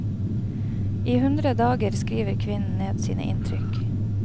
I hundre dager skriver kvinnen ned sine inntrykk.